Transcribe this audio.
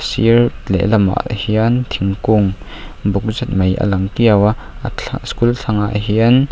a sir lehlamah hian thingkung buk zet mai a lang kiau a school thlang ah hian--